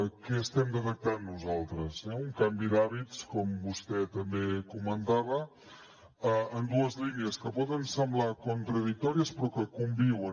què estem detectant nosaltres un canvi d’hàbits com vostè també comentava en dues línies que poden semblar contradictòries però que conviuen